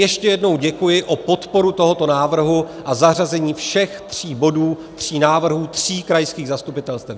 Ještě jednou děkuji za podporu tohoto návrhu a zařazení všech tří bodů, tří návrhů tří krajských zastupitelstev.